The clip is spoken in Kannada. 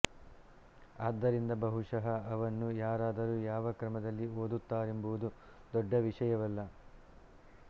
ಆದ್ದರಿಂದ ಬಹುಶಃ ಅವನ್ನು ಯಾರಾದರು ಯಾವ ಕ್ರಮದಲ್ಲಿ ಓದುತ್ತಾರೆಂಬುದು ದೊಡ್ಡ ವಿಷಯವಲ್ಲ